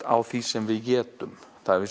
á því sem við étum